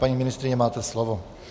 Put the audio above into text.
Paní ministryně, máte slovo.